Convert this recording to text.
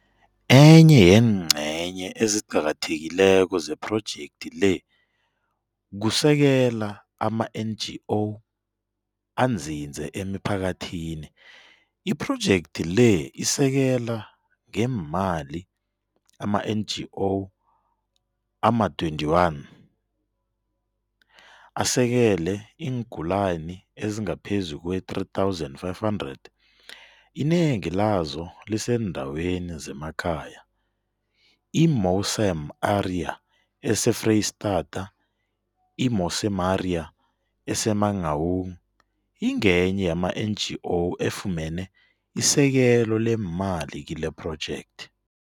Enye yeengcenye eziqakathekileko zephrojekthi le kusekela ama-NGO anzinze emiphakathini. IPhrojekthi le isekela ngeemali ama-NGO ama-21 asekele iingulani ezi ngaphezu kwee-3500, inengi lazo liseendaweni zemakhaya. I-Mosam aria ese-Freyistata I-Mosamaria ese-Mangaung, ingenye yama-NGO efumene isekelo leemali kilephrojekthi.